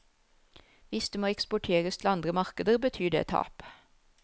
Hvis det må eksporteres til andre markeder, betyr det tap.